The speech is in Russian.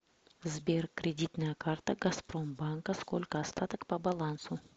сбер кредитная карта газпром банка сколько остаток по балансу